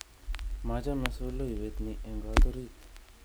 Machame solowiet ni eng kot orit